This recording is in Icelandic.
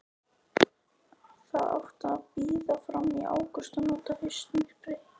Það átti að bíða fram í ágúst og nota haustmyrkrið.